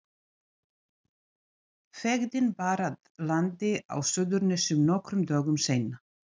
Feðginin bar að landi á Suðurnesjum nokkrum dögum seinna.